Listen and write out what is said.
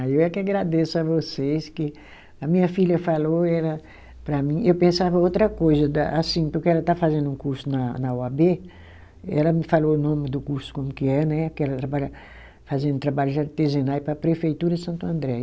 Aí eu é que agradeço a vocês que a minha filha falou ela para mim, eu pensava outra coisa da, assim, porque ela está fazendo um curso na na oabê, ela me falou o nome do curso como que é, né, que ela trabalha fazendo trabalho de artesanato para a prefeitura de Santo André.